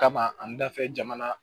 Kama an da fɛ jamana